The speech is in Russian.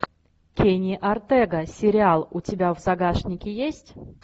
кенни ортега сериал у тебя в загашнике есть